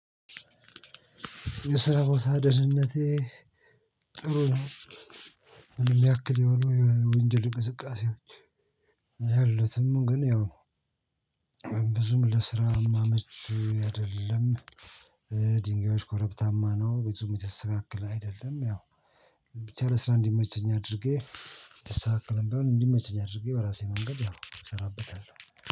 የስራ ቦታ ደህንነቴ ጥሩ ነው። ምንም ያክል የሆነ የወንጀል እንቅስቃሴዎች የሉትም። ግን ያው ብዙም ለስራ የምመች አይደለም። ድንጋዮች ኮረብታማ ነው ቤቱም የተስተካከለ አይደለም። ያው ብቻ ለስራ እንዲመቸኝ አድርጌ ያልተስተካከለም ቢሆን እንዲመቸኝ አድርጌ በራሴ መንገድ ያው እሰራበታለሁ።